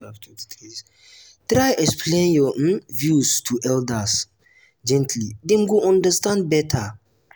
try explain your um views to elders um gently; dem go understand better.